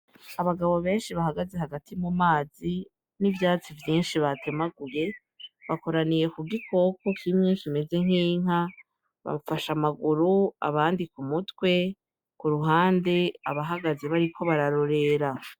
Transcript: Abagabo benshi bahagaze hagati mu mazi n'ivyatsi vyinshi batemaguye bakoraniye ku gikoko ky'imyinshi imeze nk'inka bamufasha amaguru abandika umutwe ku ruhande abahagaze bariko bararorera.